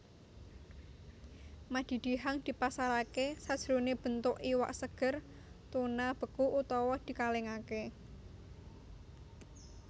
Madidihang dipasaraké sajroné bentuk iwak seger tuna beku utawa dikalèngaké